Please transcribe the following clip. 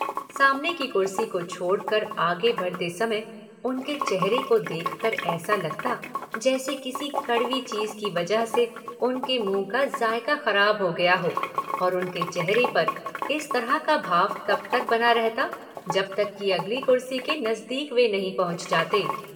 सामने की कुर्सी को छोड़कर आगे बढ़ते समय उनके चेहरे का देखकर ऐसा लगता जैसे किसी कड़वी चीज की वजह से उनके मुंह का जायका खराब हो गया हो और उनके चेहरे पर इस तरह का भाव तब तक बना रहता जब तक कि अगली कुर्सी के नजदीक वे नहीं पहुंच जाते।